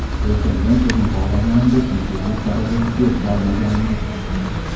Lekin men o‘zim xohlaganimdek yulduzlik darajasiga erisha olmaganman.